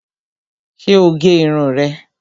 Ṣé o gé irun rẹ̀